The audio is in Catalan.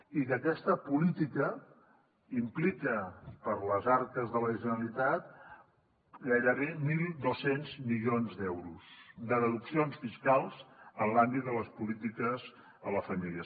i que aquesta política implica per a les arques de la generalitat gairebé mil dos cents milions d’euros de deduccions fiscals en l’àmbit de les po lítiques a les famílies